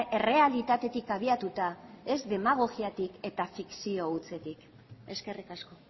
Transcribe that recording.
errealitatetik abiatuta ez demagogiatik eta fikzio hutsetik eskerrik asko